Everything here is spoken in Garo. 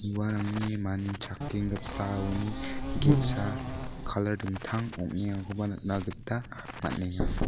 uarangni manichakenggipaoni ge·sa kalar dingtang ong·engakoba nikna gita man·enga.